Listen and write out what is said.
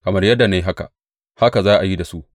Kamar yadda na yi, haka za a yi da su.